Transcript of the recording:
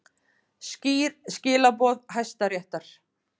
Skýr skilaboð Hæstaréttar